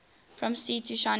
from sea to shining sea